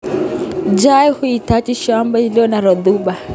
Chai huhitaji shamba iliyo na rotuba